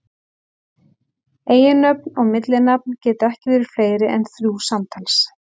Eiginnöfn og millinafn geta ekki verið fleiri en þrjú samtals.